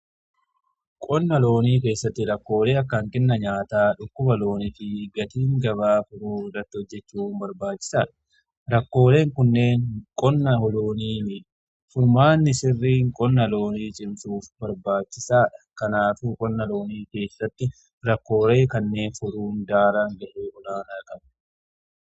Qonna loonii keessatti rakkoolee akkaan kenna nyaataa dhukkuba loonii fi gatiin gabaa furuu irratti hojjechuun barbaachisaadha. Rakkoolee kunneen qonna loonii furmaanni sirriin qonna loonii cimsuuf barbaachisaadha. Kanaaf qonna loonii keessatti rakkoolee kanneen furuun daran bu'aa olaanaa qaba.